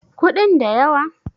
kudin da yawa